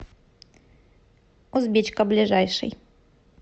узбечка ближайший